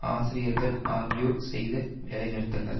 ஆசிரியர்கள் ஆகியோர் செய்த வேலை நிறுத்தங்கள்